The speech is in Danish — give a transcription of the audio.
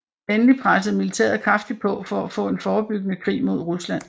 Endelig pressede militæret kraftigt på for at få en forebyggende krig mod Rusland